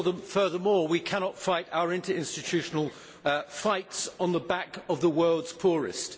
Furthermore, we cannot fight our interinstitutional fights on the back of the world's poorest.